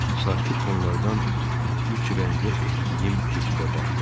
Sakit tonlardan üç rəngə etdiyim keçidə baxdım.